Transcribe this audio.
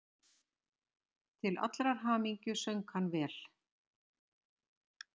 Til allrar hamingju söng hann vel!